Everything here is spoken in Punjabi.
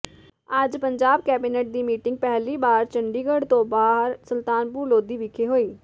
ਅੱਜ ਪੰਜਾਬ ਕੈਬਿਨੇਟ ਦੀ ਮੀਟਿੰਗ ਪਹਿਲੀ ਵਾਰ ਚੰਡੀਗੜ੍ਹ ਤੋਂ ਬਾਹਰ ਸੁਲਤਾਨਪੁਰ ਲੋਧੀ ਵਿਖੇ ਹੋਈ